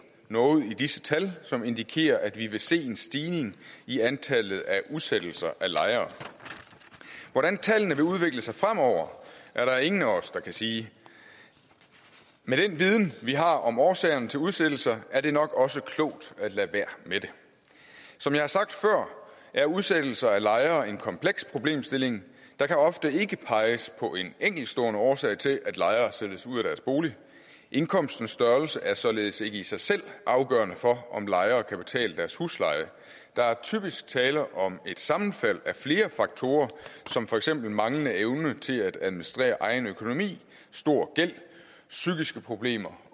noget i disse tal som indikerer at vi vil se en stigning i antallet af udsættelser af lejere hvordan tallene vil udvikle sig fremover er der ingen af os der kan sige med den viden vi har om årsagerne til udsættelser er det nok også klogt at lade være med det som jeg har sagt før er udsættelser af lejere en kompleks problemstilling der kan ofte ikke peges på en enkeltstående årsag til at lejere sættes ud af deres bolig indkomstens størrelse er således ikke i sig selv afgørende for om lejere kan betale deres husleje der er typisk tale om et sammenfald af flere faktorer som for eksempel manglende evne til at administrere egen økonomi stor gæld psykiske problemer